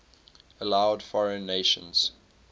allowed foreign nations